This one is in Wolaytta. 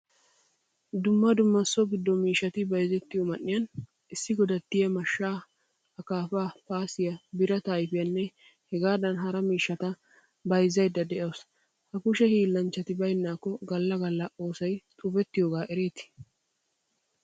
Dumma dumma so giddo miishshati bayzzetiyo man'iyaan issi godattiya mashshaa, akaafa, paasiya birata ayfiyanne hegadan hara miishshata bayzzayda de'awusu. Ha kushshe hiilanchchati baynakko galla galla oosoy xubetanage erettees.